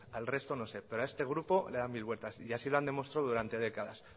al resto no sé pero a este grupo le da mil vueltas y así lo han demostrado durante décadas